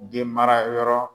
Den mara yɔrɔ